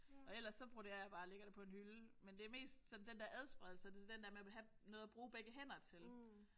Og ellers så broderer jeg bare og lægger det på en hylde. Men det er mest sådan den der adspredelse det sådan den der med at vil have noget at bruge begge hænder til